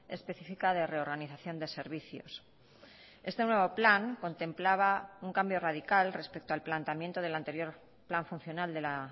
específica de reorganización de servicios este nuevo plan contemplaba un cambio radical respecto al planteamiento del anterior plan funcional de la